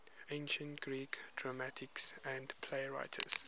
ancient greek dramatists and playwrights